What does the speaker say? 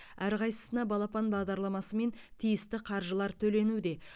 әрқайсысына балапан бағдарламасымен тиісті қаржылар төленуде